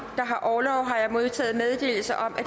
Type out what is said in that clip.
der har orlov har jeg modtaget meddelelse om at